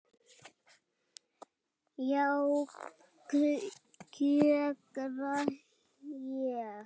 Já, kjökra ég.